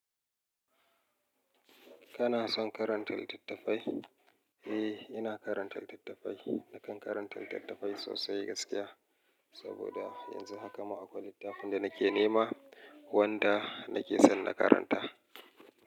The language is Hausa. Kana son karanta littattafai? Eh, ina karanta littattafai. Nakan karanta littattafai sosai gaskiya. Saboda yanzu haka ma akwai littafin da nake nema wanda nake son na karanta.